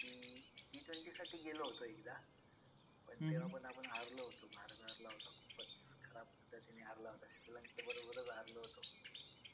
T twenty साठी गेलो होतो एकदा पण तेव्हा पण आपण हारलो होतो. भारत हारला होता. खूपच खराब पद्धतीने हारला होता. श्रीलंकेबरोबरच हारलो होतो.